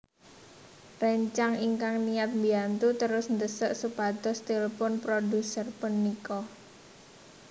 Réncang ingkang niyat mbiyantu terus ndhesak supados tilphun produser punika